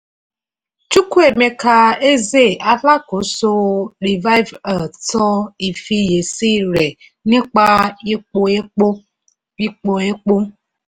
chukwuemeka eze alákòóso revive earth sọ ìfiyèsí rẹ̀ nípa ipò epo. ipò epo.